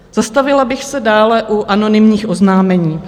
Zastavila bych se dále u anonymních oznámení.